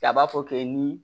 A b'a fɔ k'e ni